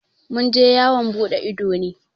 Mun je yawan buɗe ido ne.